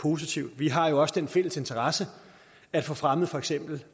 positivt vi har jo også den fælles interesse at få fremmet for eksempel